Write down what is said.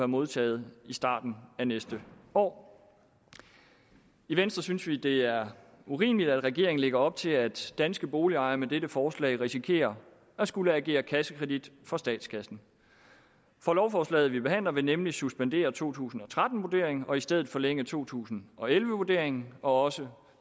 modtaget i starten af næste år i venstre synes vi det er urimeligt at regeringen lægger op til at danske boligejerne med dette forslag risikerer at skulle agere kassekredit for statskassen for lovforslaget vi behandler vil nemlig suspendere to tusind og tretten vurderingen og i stedet forlænge to tusind og elleve vurderingen og også